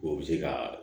O bɛ se ka